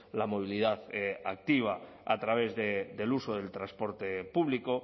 la movilidad activa a través del uso del transporte público